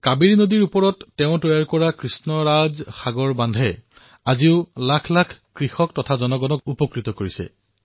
কাবেৰী নদীত তেওঁ নিৰ্মাণ কৰা কৃষ্ণৰাজ বান্ধে আজিও লক্ষাধিক কৃষক আৰু জনসাধাৰণক উপকৃত কৰি আহিছে